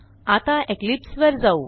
आता इक्लिप्स वर जाऊ